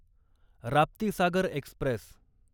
Raptisagar Express